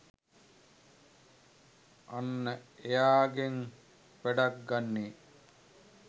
අන්න එයාගෙන් වැඩක් ගන්නේ